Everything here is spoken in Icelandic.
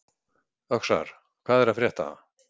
Öxar, hvað er að frétta?